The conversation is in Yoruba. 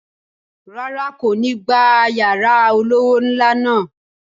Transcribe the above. Rárá, n̄ kò ní gba yàrá olówó ńlá náà